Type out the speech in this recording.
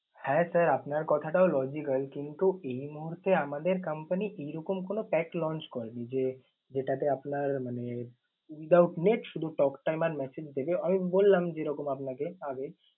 হ্যাঁ sir আপনার কথাটাও logical কিন্তু এই মুহূর্তে আমাদের company এইরকম কোনো pack launch করেনি যে, যেটাতে আপনার মানে without net শুধু talktime আর message দেবে। আমি বললাম যেরকম আপনাকে আগে